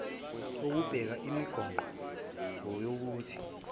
kokubeka imigoqo yokuthi